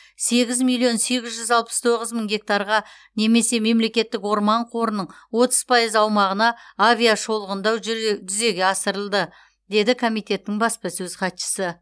сегіз миллион сегіз жүз алпыс тоғыз мың гектарға немесе мемлекеттік орман қорының отыз пайыз аумағына авиашолғындау жүре жүзеге асырылды деді комитеттің баспасөз хатшысы